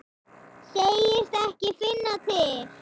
Segist ekki finna til.